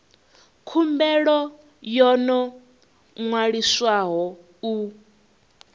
khumbelo yo no ṅwaliswaho u